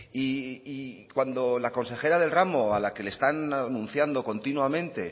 y cuando la consejera del ramo a la que están anunciando continuamente